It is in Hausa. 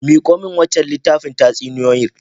Miko min wancan littafin tatsuniyoyin.